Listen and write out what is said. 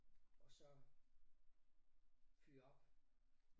Og så fyre op